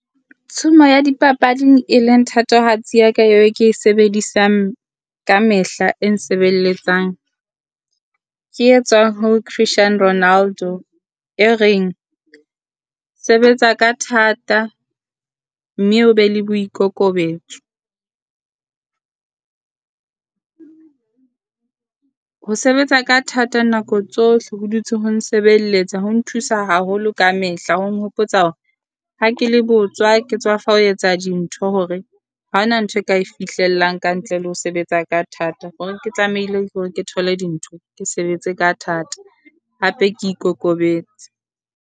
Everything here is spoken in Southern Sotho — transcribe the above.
Tshumo ya dipapading e leng thatohatsi ya ka eo ke e sebedisang ka mehla e nsebeletsang. Ke etswa ho Christian Ronaldo, e reng sebetsa ka thata mme o be le boikokobetso. Ho sebetsa ka thata nako tsohle ho dutse ho nsebeletsa ho nthusa haholo ka mehla, ho nghopotsa hore ha ke le botswa, ke tswafa ho etsa dintho hore ha ho na ntho ka e fihlellang ka ntle le ho sebetsa ka thata. Hore ke tlamehile ke hore ke thole dintho ke sebetse ka thata, hape ke ikokobetse.